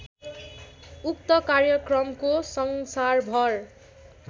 उक्त कार्यक्रमको संसारभर